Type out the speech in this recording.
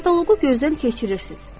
Kataloqu gözdən keçirirsiniz.